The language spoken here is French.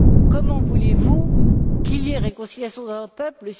Comment voulez vous qu'il y ait réconciliation d'un peuple?